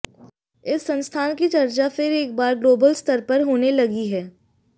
इस संस्थान की चर्चा फिर एक बार ग्लोबल स्तर पर होने लगी है